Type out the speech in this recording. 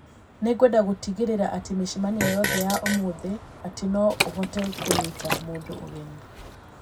Nĩ ngwenda gũtigĩrĩra atĩ mĩcemanio yothe ya ũmũthĩ atĩ no ũhote kũnyita mũndũ ũgeni.